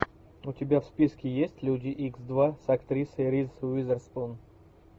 у тебя в списке есть люди икс два с актрисой риз уизерспун